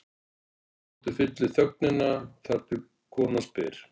Hjartsláttur fyllir þögnina, þar til konan spyr